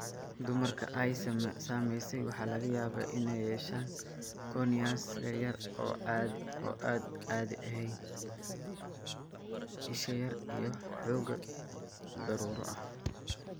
Dumarka ay saameysay waxaa laga yaabaa inay yeeshaan corneas yaryar oo aan caadi ahayn (isha yaar) iyo xoogaa daruuro ah.